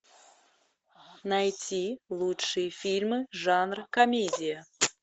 найти лучшие фильмы жанра комедия